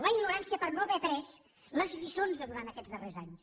la ignorància per no haver après les lliçons de durant aquests darrers anys